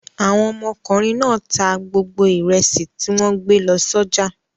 Àwọn ọmọkùnrin náà ta gbogbo ìrẹsì tí wọ́n gbé lọ sọ́jà.